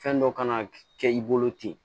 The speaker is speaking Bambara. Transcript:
Fɛn dɔ kan kɛ i bolo ten